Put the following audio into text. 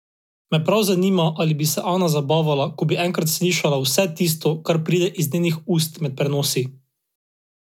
Me prav zanima, ali bi se Ana zabavala, ko bi enkrat slišala vse tisto, kar pride iz njenih ust med prenosi.